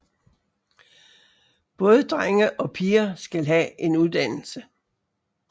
Både drenge og piger skal have en uddannelse